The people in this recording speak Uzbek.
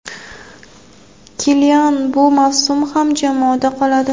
Kilian bu mavsum ham jamoada qoladi.